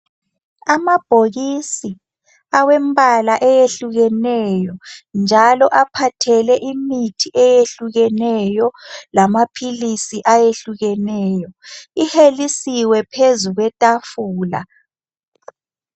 Abhokisi awembala eyehlukeneyo njalo aphathele imithi eyehlukeneyo lamaphilisi ayehlukeneyo. Ihelisiwi phezu kwetafula